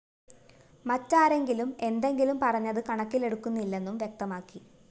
മറ്റാരെങ്കിലും എന്തെങ്കിലും പറഞ്ഞത് കണക്കിലെടുക്കുന്നില്ലെന്നും വ്യക്തമാക്കി